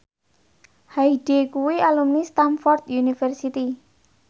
Hyde kuwi alumni Stamford University